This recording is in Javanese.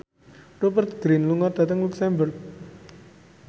Rupert Grin lunga dhateng luxemburg